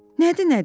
Nədir nədir?